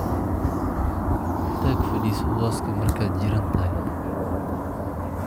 Tag fadhiiso hooska markaad jiran tahay.